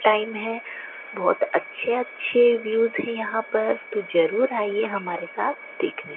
Time है बहुत अच्छे अच्छे व्यूज हैं यहां पर तो जरूर आइए हमारे साथ देखने।